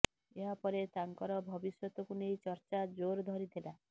ଏହା ପରେ ତାଙ୍କର ଭବିଷ୍ୟତକୁ ନେଇ ଚର୍ଚ୍ଚା ଜୋର ଧରିଥିଲା